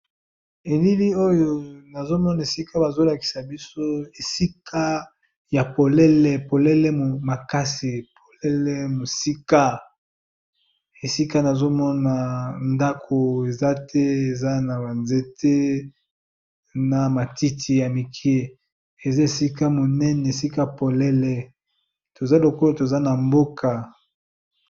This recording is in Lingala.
Elili oyo nazomona bazolakisa biso esika ya polele makasi namoni ndako ezate namoni zamba na ba matiti ebele